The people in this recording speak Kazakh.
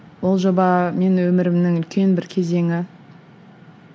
ол жоба менің өмірімнің үлкен бір кезеңі